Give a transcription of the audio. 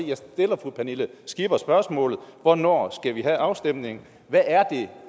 jeg stiller fru pernille skipper spørgsmål om hvornår vi skal have afstemningen hvad er det